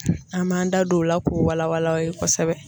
An b'an da don o la k'o wala wala aw ye kosɛbɛ.